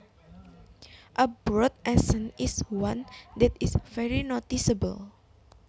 A broad accent is one that is very noticeable